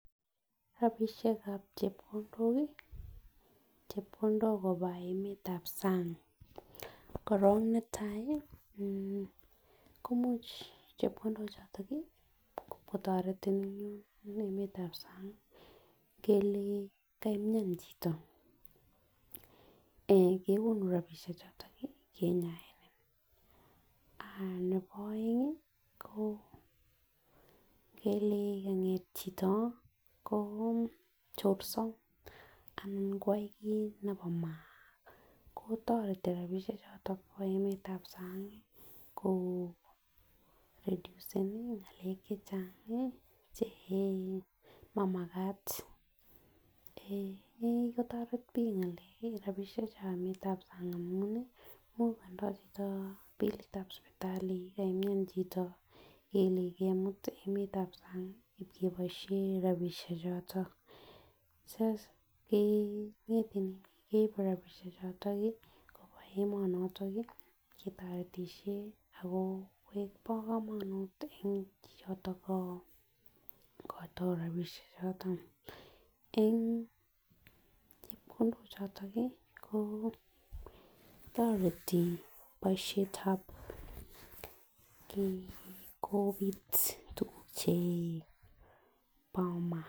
Rabishekab chepkondok kii chepkondok koba emetab sang korong netai komuche chepkondok choton nii komotoretin en emetab sang kele kamian chito kekonu rabishek choton kinyaen, ah nebo oeng ingele kanget chito kochopso ana koyo kit nebo maana kotoreti rabishek choto bo emetab sang ko reduceni ngele chechang che mamakat eeh nekikotoret bik ngalek rabishekab sang amun mukondo chito bilitab sipitali ngele kamian chito ngele kakimut emetab sang keboishen rabishek choton eeh keribe rabishek choton nii koba emonotin keboishen ako bo komonut en chichoto ikoito rabishek choto. En chepkondok choton kii ko toreti boishetab kobit tukuk che bo maa.